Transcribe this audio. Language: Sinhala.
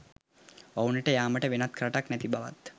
ඔවුනට යාමට වෙනත් රටක් නැති බවත්